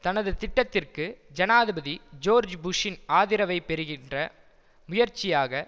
தனது திட்டத்திற்கு ஜனாதிபதி ஜோர்ஜ் புஷ்ஷின் ஆதிரவைப் பெறுகின்ற முயற்சியாக